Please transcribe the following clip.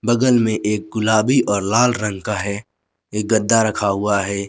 बगल में एक गुलाबी और लाल रंग का है एक गद्दा रखा हुआ है।